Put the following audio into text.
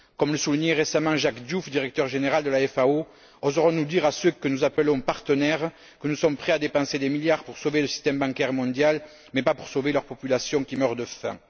Comme le soulignait récemment Jacques Diouf, directeur général de la FAO, oserons nous dire à ceux que nous appelons partenaires, que nous sommes prêts à dépenser des milliards pour sauver le système bancaire mondial mais pas pour sauver leurs populations qui meurent de faim?